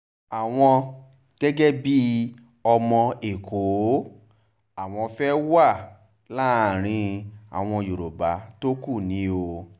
àwọn gẹ́gẹ́ bíi ọmọ ẹ̀kọ́ àwọn fẹ́ẹ́ wà láàrin àwọn yorùbá tó kù ni o